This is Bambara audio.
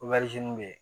bɛ yen